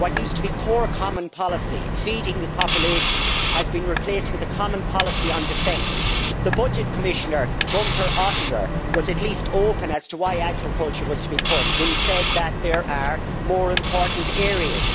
What used to be core common policy feeding the population has been replaced with a common policy on defence. The budget Commissioner, Gunter Oettinger, was at least open as to why agriculture was to be cut when he said that there are more important areas.